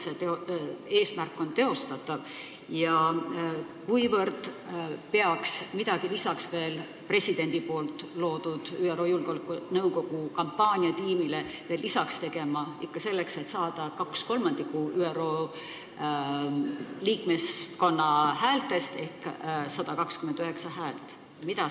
Mil määral on see eesmärk teostatav ja mida peaks veel lisaks tegema presidendi loodud ÜRO Julgeolekunõukogu kampaaniatiimi tegevusele – ikka selleks, et saada vähemalt 2/3 ÜRO liikmeskonna häältest ehk 129 häält?